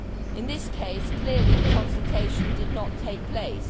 In this case, clearly the consultation did not take place.